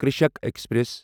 Krishak express